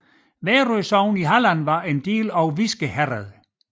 Værø sogn i Halland var en del af Viske herred